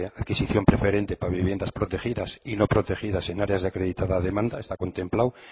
adquisición preferente para viviendas protegidas y no protegidas en áreas de acreditada demanda está contemplado